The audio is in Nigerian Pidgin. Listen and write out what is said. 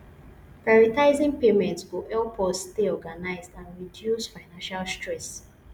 prioritizing payments go help us stay organized and reduce financial stress